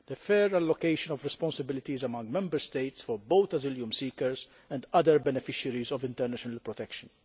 and the fair allocation of responsibilities among Member States for both asylum seekers and other beneficiaries of international protection.